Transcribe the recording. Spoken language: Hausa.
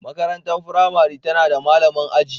Makarantar firamare tana da malamin aji